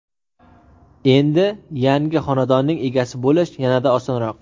Endi yangi xonadonning egasi bo‘lish yanada osonroq.